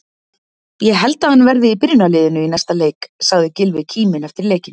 Ég held að hann verði í byrjunarliðinu í næsta leik, sagði Gylfi kíminn eftir leikinn.